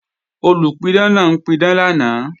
Olùpidán náà ń pidán lánàá